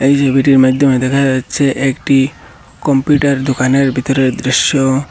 এই ছবিটির মাধ্যমে দেখা যাচ্ছে একটি কম্পিউটার দোকানের ভিতরের দৃশ্য।